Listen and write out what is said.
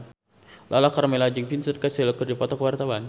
Lala Karmela jeung Vincent Cassel keur dipoto ku wartawan